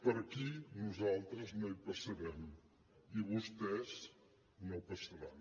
per aquí nosaltres no hi passarem i vostès no passaran